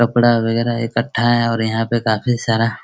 कपड़ा वगैरह इकट्ठा है और यहां पर काफी सारा --